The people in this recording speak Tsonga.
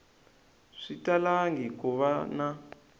swi talangi ku va na